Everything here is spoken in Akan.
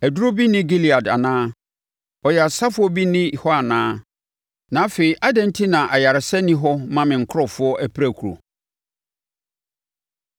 Aduro bi nni Gilead anaa? Ɔyaresafoɔ bi nni hɔ anaa? Na afei adɛn enti na ayaresa nni hɔ mma me nkurɔfoɔ apirakuro?